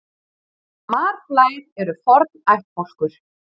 Marflær eru forn ættbálkur.